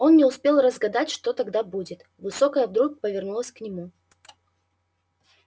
он не успел загадать что тогда будет высокая вдруг повернулась к нему